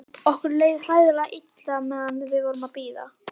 Okkur leið hræðilega illa meðan við vorum að bíða.